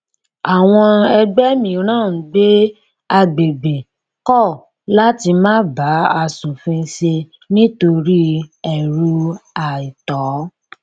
àwọn ẹgbẹ mìíràn ń gbé agbègbè kọ láti máa bá aṣòfin ṣe nítorí ẹrù àìtọ